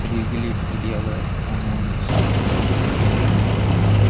शरीर के लिए भी बड़िया होवे है खून ने साफ़ गर्मियां के मा काम आवे।